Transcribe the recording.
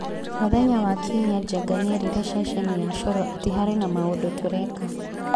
Mũthenya wa Kiumia Njenga nĩerire ceceni ya Coro atĩ harĩ na maũndũ tũreka.